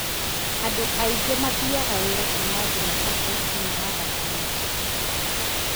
Andũ aingĩ mathiaga wĩra kuma jumatatũ nginya wagatano.